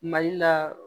Mali la